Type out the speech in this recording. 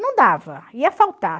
Não dava, ia faltar.